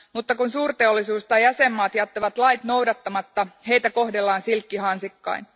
Mutta kun suurteollisuus tai jäsenmaat jättävät lait noudattamatta, heitä kohdellaan silkkihansikkain.